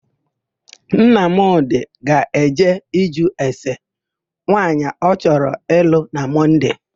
Nnamdì ga-eje ịjụ ese nwaanyị ọ chọrọ ịlụ na Mọnde.